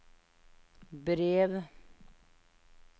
brev